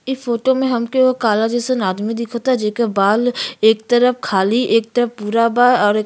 ई फोटो में हमके एगो काला जैसा आदमी दिखता। जेकर बाल एक तरप खाली एक तरप पूरा बा और --